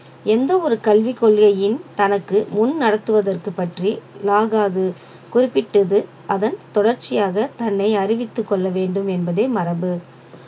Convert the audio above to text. எந்த ஒரு கல்விக் கொள்கையையும் தனக்கு முன் நடத்துவதற்கு பற்றிலாகாது குறிப்பிட்டது அதன் தொடர்ச்சியாக தன்னை அறிவித்துக் கொள்ள வேண்டும் என்பதே மரபு